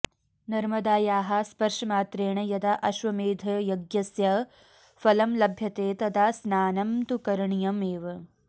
नर्मदायाः स्पर्शमात्रेण यदा अश्वमेधयज्ञस्य फलं लभ्यते तदा स्नानं तु करणीयमेव